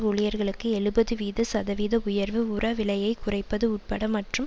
ஊழியர்களுக்கு எழுபது வீத சதவீத உயர்வு உர விலையை குறைப்பது உட்பட மற்றும்